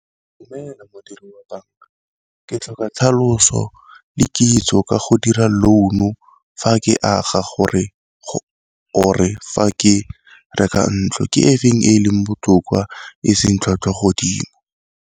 Dumela modiri wa banka ke tlhoka tlhaloso le kitso ka go dira loan-u fa ke aga gore or-e fa ke reka ntlo, ke efeng e leng botoka e seng tlhwatlhwa godimo.